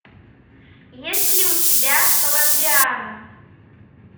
есть ли у тебя коломбиана